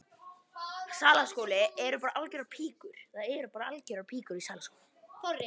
Það sannast enn að lífið er ekki eintómar hugsjónir.